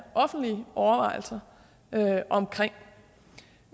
offentlige overvejelser om for det